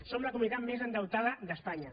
som la comunitat més endeutada d’espanya